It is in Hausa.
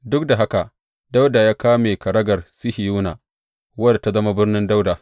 Duk da haka, Dawuda ya kame kagarar Sihiyona, wadda ta zama Birnin Dawuda.